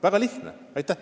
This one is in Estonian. Väga lihtne!